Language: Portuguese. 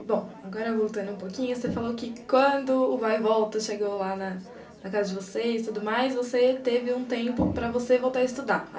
E, bom, agora voltando um pouquinho, você falou que quando o Vai e Volta chegou lá na casa de vocês e tudo mais, você teve um tempo para você voltar a estudar.